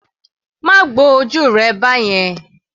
Má gbo ojú rẹ báyẹn.